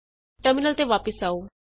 terminal ਤੇ ਵਾਪਸ ਆਉ